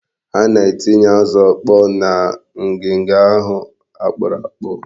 Ha na-etinye azụ ọkpọọ ha na ngiga ahụ akpụrụ akpụ.